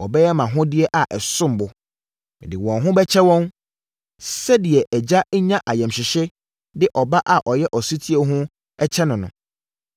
wɔbɛyɛ mʼahodeɛ a ɛsom bo. Mede wɔn ho bɛkyɛ wɔn, sɛdeɛ agya nya ayamhyehyeɛ de ɔba a ɔyɛ ɔsetie ho kyɛ no no.